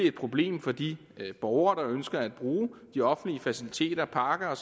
et problem for de borgere der ønsker at bruge de offentlige faciliteter parker